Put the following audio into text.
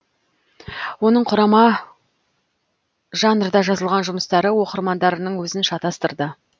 оның құрама жанрда жазылған жұмыстары оқырмандарының өзін шатастырды